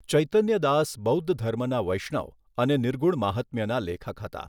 ચૈતન્ય દાસ બૌદ્ધ ધર્મના વૈષ્ણવ અને નિર્ગુણ માહાત્મ્યના લેખક હતા.